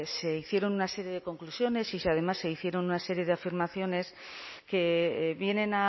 se hicieron una serie de conclusiones y además se hicieron una serie de afirmaciones que vienen